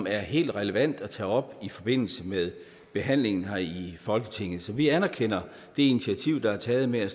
er helt relevant at tage op i forbindelse med behandlingen her i folketinget så vi anerkender det initiativ der er taget med at